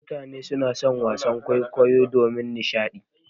Mutane suna son wasan kwaikwayo domin nishaɗi.